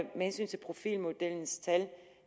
hensyn til profilmodellens tal